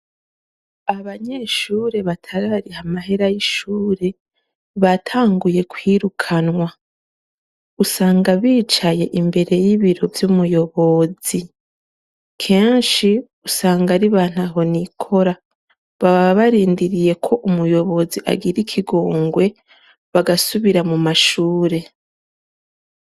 Abanyeshure batarariha mahera y'ishure batanguye kwirukanwa; usanga bicaye imbere y'ibiro vy'umuyobozi. Kenshi usanga ari ba ntahonikora. Baba barindiriye ko umuyobozi agira ikigongwe bagasubira mu mashure.